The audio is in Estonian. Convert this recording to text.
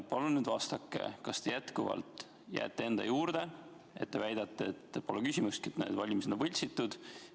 " Palun vastake, kas te jätkuvalt jääte enda juurde ja väidate, et pole küsimustki, et need valimised on võltsitud.